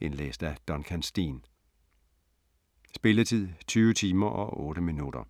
Indlæst af Duncan Steen. Spilletid: 20 timer, 8 minutter.